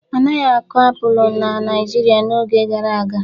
Anaghị akụ apụlụ na Naịjirịa n'oge gara aga.